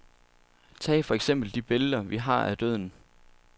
Tag for eksempel de billeder vi har af døden.